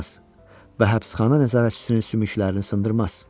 Və həbsxana nəzarətçisinin sümüklərini sındırmaz.